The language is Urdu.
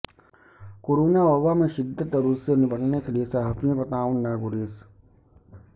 کورونا وباء میں شدت اور اس سے نمٹنے کیلئے صحافیوں کا تعاون ناگزیر